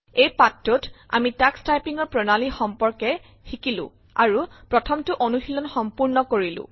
এই পাঠটোত আমি টাক্স টাইপিঙৰ প্ৰণালী সম্পৰ্কে শিকিলো আৰু প্ৰথমটো অনুশীলন সম্পূৰ্ণ কৰিলো